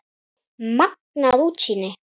Magnað útsýni!